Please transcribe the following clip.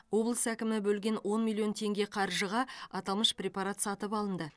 облыс әкімдігі бөлген он миллион теңге қаржыға аталмыш препарат сатып алынды